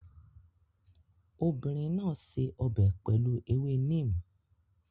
Obìnrin náà ṣe ọbẹ̀ pẹ̀lú ewé neem